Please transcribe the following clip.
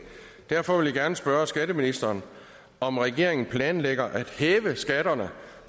derfor vil jeg gerne spørge skatteministeren om regeringen planlægger at hæve skatterne